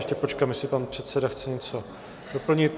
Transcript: Ještě počkám, jestli pan předseda chce něco doplnit.